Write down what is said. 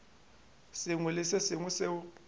sengwe le se sengwe seo